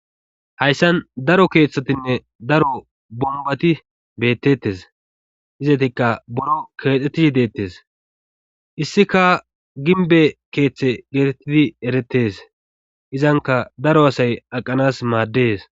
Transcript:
Hayssan daro keeththatinne daro bombati bettetes izatikka buro keexettishshe dettees issika ginbe keeththe geetettidi erettes izanka daro asay aqanas maaddees